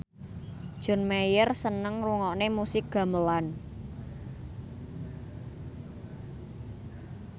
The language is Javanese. John Mayer seneng ngrungokne musik gamelan